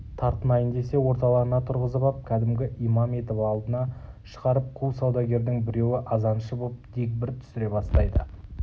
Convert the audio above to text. тартынайын десе орталарына тұрғызып ап кәдімгі имам етіп алдына шығарып қу саудагердің біреуі азаншы боп дегбір түсіре бастайды